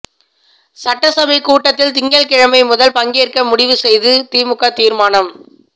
சட்டசபை கூட்டத்தில் திங்கள்கிழமை முதல் பங்கேற்க முடிவு செய்து திமுக தீர்மானம்